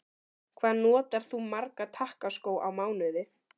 Hvað notar þú marga takkaskó á mánuði?